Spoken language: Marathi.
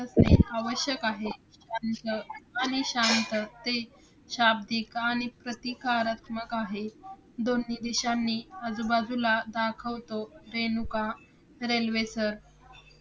आवश्यक आहे. शांत आणि शांत ते शाब्दिक आणि प्रतिकारात्मक आहे. दोन्ही दिशांनी आजूबाजूला दाखवतो. रेणुका रेल्वेसर